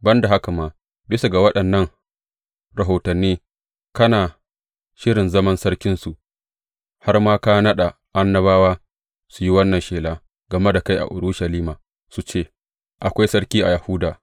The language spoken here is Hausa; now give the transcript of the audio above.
Ban da haka ma, bisa ga waɗannan rahotanni kana shirin zaman sarkinsu har ma ka naɗa annabawa su yi wannan shela game da kai a Urushalima, su ce, Akwai sarki a Yahuda!’